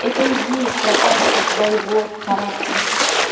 это и есть прокачка твоего характера